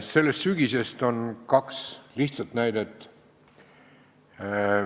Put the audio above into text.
Sellest sügisest on kaks lihtsat näidet.